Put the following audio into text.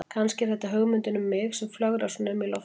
Kannski er þetta hugmyndin um mig sem flögrar svona um í loftinu.